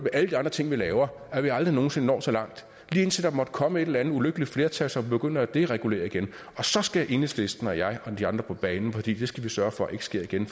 alle de andre ting vi laver at vi aldrig nogen sinde når så langt lige indtil der måtte komme et eller andet ulykkeligt flertal som begynder at deregulere igen og så skal enhedslisten og jeg og de andre komme på banen for det skal vi sørge for ikke sker igen